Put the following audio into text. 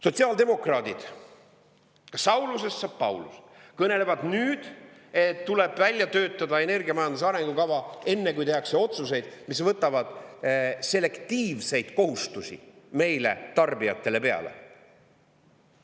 Sotsiaaldemokraadid – Saulusest saab Paulus – kõnelevad nüüd, et tuleb välja töötada energiamajanduse arengukava, enne kui tehakse otsuseid, mis võtavad selektiivseid kohustusi meile, tarbijatele, peale.